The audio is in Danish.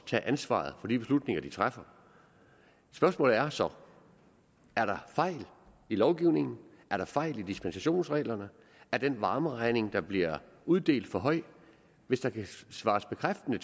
tage ansvaret for de beslutninger de træffer spørgsmålet er så er der fejl i lovgivningen er der fejl i dispensationsreglerne er den varmeregning der bliver uddelt for høj hvis der kan svares bekræftende